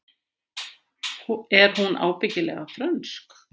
Er hún ekki ábyggilega frönsk?